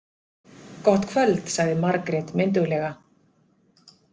Gott kvöld, sagði Margrét mynduglega.